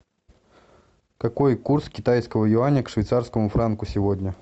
какой курс китайского юаня к швейцарскому франку сегодня